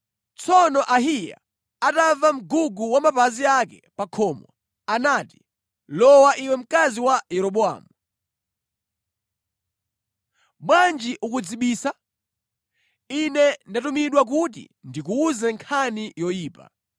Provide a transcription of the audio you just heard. Tsono Ahiya atamva mgugu wa mapazi ake pa khomo, anati, “Lowa, iwe mkazi wa Yeroboamu. Bwanji ukudzibisa? Ine ndatumidwa kuti ndikuwuze nkhani yoyipa.